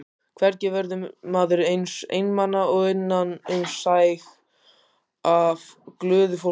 Hvergi verður maður eins einmana og innan um sæg af glöðu fólki.